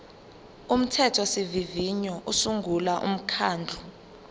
umthethosivivinyo usungula umkhandlu